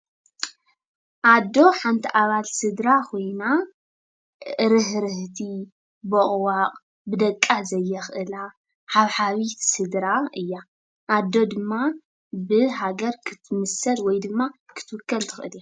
ኣዶ ሓንቲ ኣባል ስድራ ኮይና ርህርህቲ፣ ቦቕባቕ፣ ብደቃ ዘየኽእላ ሓብሓቢት ስድራ እያ፡፡ ኣዶ ድማ ብሃገር ክትምሰል ወይ ድማ ክትውከል ትኽእል እያ፡፡